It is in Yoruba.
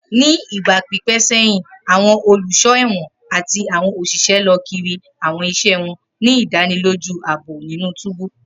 Ni igba pipẹ sẹhin, awọn oluso ẹwọn ati awọn oṣiṣẹ lọ kiri awọn iṣẹ wọn, ni idaniloju aabo ninu túbú.